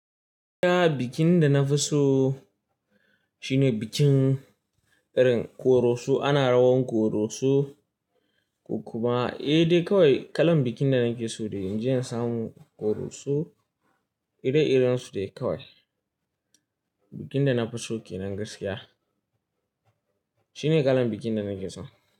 Bikin da na fi so shine bikin irin koroso. Ana rawan koroso, ko kuma, eh dai kawai kalan bikin da nake so dai inje in samu koroso ire-iren su dai kawai. Bikin da na fi so kenan gaskiya shine kalan bikin da nake so.